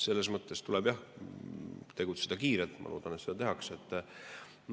Selles mõttes tuleb jah tegutseda kiirelt ja ma loodan, et seda tehakse.